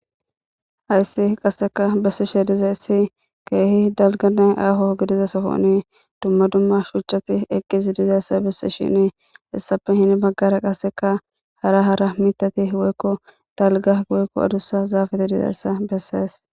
Hayssi qasseka bessi she diza issi keehi dalganne aho gidiza sohoni dumma dumma shuucati eqqizi dizayssa bessi shini hissappe hini baggara qasseka hara hara mitati woykko dalga goyekko adussa zaafate dizayssa bessees